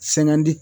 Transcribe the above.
Sɛŋɛn di